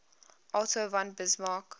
otto von bismarck